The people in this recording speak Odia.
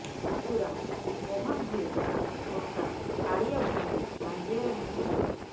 ପୁତୁରା ମୋହନ ଭୁଏ କକା କାଳିଆ ଭୁଏଙ୍କୁ ଟାଙ୍ଗିଆରେ ହାଣି ହତ୍ୟା କରିଛି